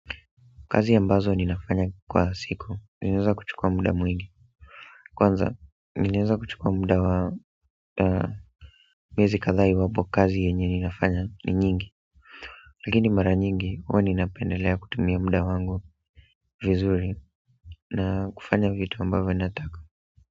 Kazi ambazo ninafanya kwa siku, ninaweza kuchukua muda mwingi kwanza, ninaeza kuchukua muda wa miezi kadhaa iwapo kazi yenye ninafanya ni nyingi lakini mara nyingi huwa napendelea kutumia muda wangu vizuri na kufanya vitu ambavyo nataka.